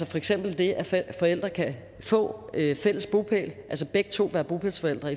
for eksempel det at forældre kan få fælles bopæl altså begge to være bopælsforældre